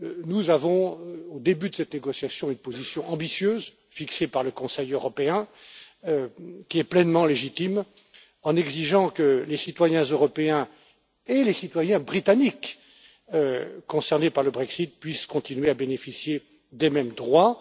Nous avons, au début de cette négociation, une position ambitieuse fixée par le Conseil européen, qui est pleinement légitime, puisque nous exigeons que les citoyens européens et les citoyens britanniques concernés par le Brexit puissent continuer à bénéficier des mêmes droits.